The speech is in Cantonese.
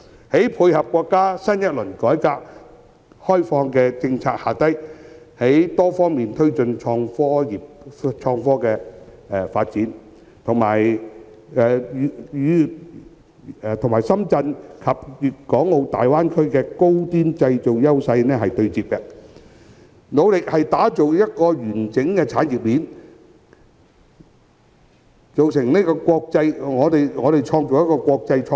在國家新一輪改革開放政策下，香港應從多方面推動創科發展，並與深圳及粵港澳大灣區的高端製造優勢對接，努力打造完整的產業鏈，構建國際創科中心。